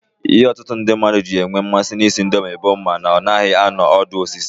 Ihe ọtụtụ ndị mmadụ ji enwe mmasị na ị sị indomi bụ na ọ naghị anụ ọdụ osisi.